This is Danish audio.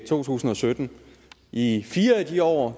to tusind og sytten i fire af de år